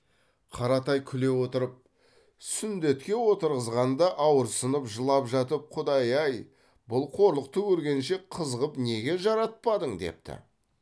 қаратай күле отырып сүндетке отырғызғанда ауырсынып жылап жатып құдай ай бұл қорлықты көргенше қыз қып неге жаратпадың депті